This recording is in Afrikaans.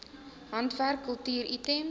handwerk kultuur items